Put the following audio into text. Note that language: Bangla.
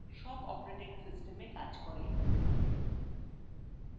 সব operating systemsএ কাজ করে